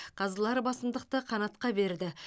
қазылар басымдықты қанатқа берді